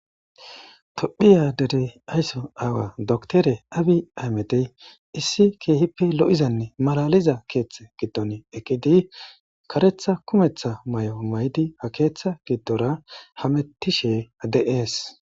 Tophphiya dere aysso aawayi doktere abiyi ahimedeyi issi keehippe lo'izaane malaliza keetha giddon eqqidi,karatha kume mayoza mayidi